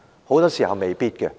很多時候是未必。